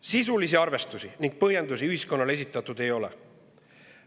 Sisulisi arvestusi ja põhjendusi ühiskonnale esitatud ei ole.